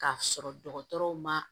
K'a sɔrɔ dɔgɔtɔrɔw ma